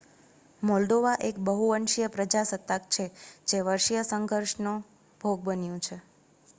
Moldova એક બહુવંશીય પ્રજાસત્તાક છે જે વંશીય સંઘર્ષનો ભોગ બન્યું છે